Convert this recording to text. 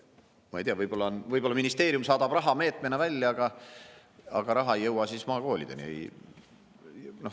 Ma ei tea, võib-olla ministeerium saadab raha meetmena välja, aga raha ei jõua maakoolideni.